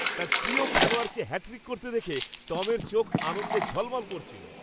তার প্রিয় খেলোয়াড়কে হ্যাটট্রিক করতে দেখে টমের চোখ আনন্দে ঝলমল করছিল।